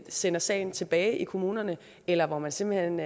sender sagen tilbage i kommunerne eller hvor man simpelt hen